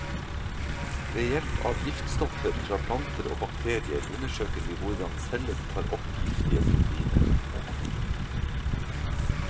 Ved hjelp av giftstoffer fra planter og bakterier undersøker vi hvordan celler tar opp giftige proteiner.